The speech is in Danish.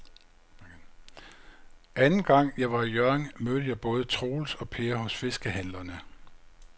Anden gang jeg var i Hjørring, mødte jeg både Troels og Per hos fiskehandlerne.